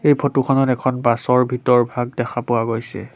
এই ফটো খনত এখন বাছ ৰ ভিতৰ ভাগ দেখা পোৱা গৈছে।